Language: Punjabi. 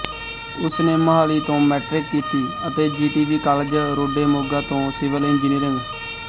ਉਸ ਨੇ ਮੁਹਾਲੀ ਤੋਂ ਮੈਟਰਿਕ ਕੀਤੀ ਅਤੇ ਜੀਟੀਵੀ ਕਾਲਜ ਰੋਡੇ ਮੋਗਾ ਤੋਂ ਸਿਵਲ ਇੰਜੀਨੀਅਰਿੰਗ